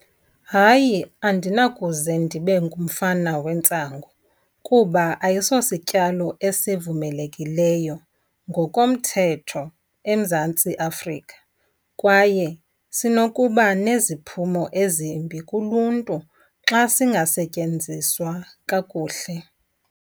Hayi, andinakuze ndibe ngumfana wentsango kuba ayisosityalo esivumelekileyo ngokomthetho eMzantsi Afrika. Kwaye sinokuba neziphumo ezimbi kuluntu xa singasetyenziswa kakuhle.